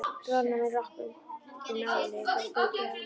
Bróðir hennar með rokk undir nálinni, bara þau tvö heima.